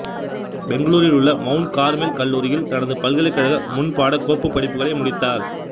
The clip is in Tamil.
பெங்களூரில் உள்ள மவுண்ட் கார்மெல் கல்லூரியில் தனது பல்கலைகழக முன்பாடக்கோப்பு படிப்புகளை முடித்தார்